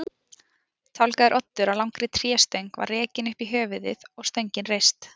Tálgaður oddur á langri tréstöng var rekinn upp í höfuðið og stöngin reist.